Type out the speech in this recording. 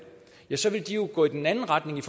så vil de jo gå i den anden retning i